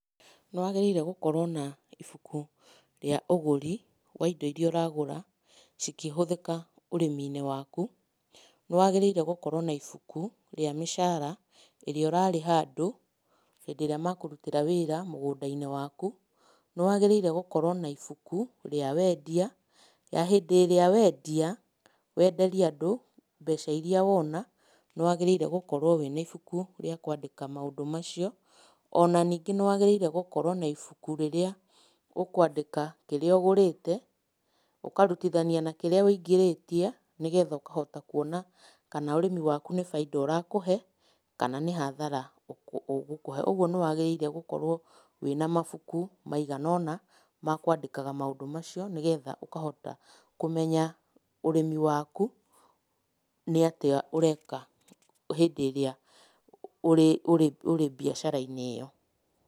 Nĩwagĩrĩire gũkorwo na ibuku rĩa ũgũri wa indo iria ũragũra, cikĩhũthĩka ũrĩmi-inĩ waku. Nĩwagĩrĩire gũkorwo na ibuku rĩa mĩcara ĩrĩa ũrarĩha andũ, hĩndĩ ĩrĩa makũrutĩra wĩra mũgũnda-inĩ waku. Nĩwagĩrĩire gũkorwo na ibuku rĩa wendia, ya hĩndĩ ĩrĩa wendia wenderia andũ mbeca iria wona, nĩwagĩrĩire gũkorwo wĩna ibuku rĩa kũandĩka maũndũ macio. Ona ningĩ nĩwagĩrĩire gũkorwo na ibuku rĩrĩa ũkwandĩka kĩrĩa ũgũrĩte ũkarutithania na kĩrĩa wĩingĩrĩtie, nĩgetha ũkahota kuona kana ũrĩmi waku nĩ bainda ũrakũhe kana nĩ hathara ũgũkũhe. Ũguo nĩwagĩrĩire gũkorwo wĩna mabuku maigana ũna ma kwandĩkaga maũndũ macio, nĩgetha ũkahota kũmenya ũrĩmi waku nĩ atĩa ũreka hĩndĩ ĩrĩa ũrĩ ũrĩ ũrĩ mbiacara-inĩ ĩyo.